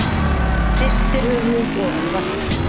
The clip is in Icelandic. Hristir höfuðið ofan í vaskinn.